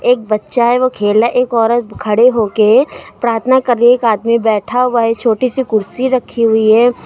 एक बच्चा है वो खेल रहा है एक औरत खड़े हो के प्रार्थना कर रही है एक आदमी बैठा हुआ है एक छोटी सी कुर्सी रखी हुई है।